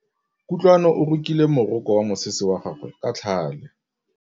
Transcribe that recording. Kutlwanô o rokile morokô wa mosese wa gagwe ka tlhale.